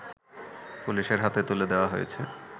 পুলিশের হাতে তুলে দেয়া হয়েছে